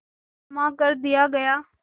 क्षमा कर दिया गया